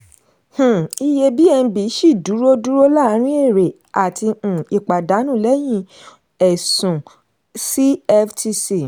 um iye bnb ṣì dúró dúró láàárin èrè àti um ìpàdánù lẹ́yìn ẹ̀sùn cftc.